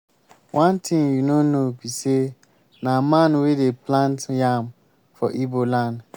one thing you no know be say na man wey dey plant yam for igbo land